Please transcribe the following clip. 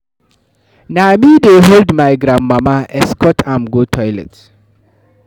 Na me dey hold my grandmama, escort am go toilet.